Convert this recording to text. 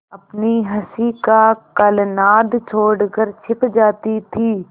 अपनी हँसी का कलनाद छोड़कर छिप जाती थीं